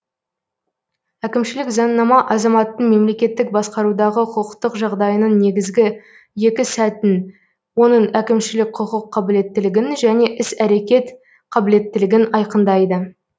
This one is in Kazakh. әкімшілік заңнама азаматтың мемлекеттік басқарудағы құқықтық жағдайының негізгі екі сәтін оның әкімшілік құқық қабілеттілігін және іс әрекет қабілеттілігін айқындайды